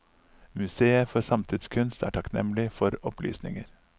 Museet for samtidskunst er takknemlig for opplysninger.